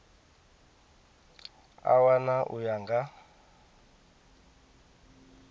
a wana u ya nga